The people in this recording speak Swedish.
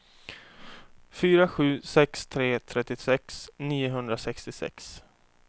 fyra sju sex tre trettiosex niohundrasextiosex